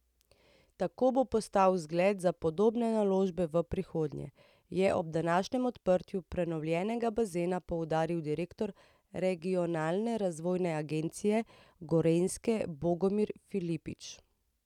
Tako bo postal zgled za podobne naložbe v prihodnje, je ob današnjem odprtju prenovljenega bazena poudaril direktor Regionalne razvojne agencije Gorenjske Bogomir Filipič.